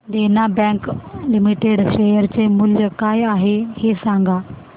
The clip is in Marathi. देना बँक लिमिटेड शेअर चे मूल्य काय आहे हे सांगा